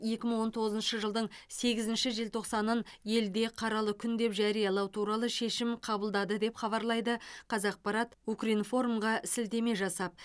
екі мың он тоғызыншы жылдың сегізінші желтоқсанын елде қаралы күн деп жариялау туралы шешім қабылдады деп хабарлайды қазақпарат укринформ ға сілтеме жасап